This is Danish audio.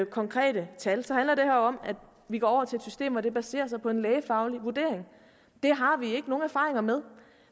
konkrete tal så handler det om at vi går over til et system der baserer sig på en lægefaglig vurdering det har vi ikke nogen erfaringer med